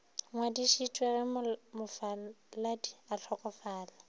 ngwadišitšwe ge mofaladi a hlokofala